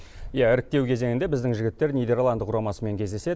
иә іріктеу кезеңінде біздің жігіттер нидерланд құрамасымен кездеседі